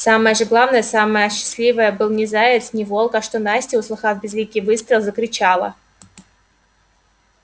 самое же главное самое счастливое был не заяц не волк а что настя услыхав близкий выстрел закричала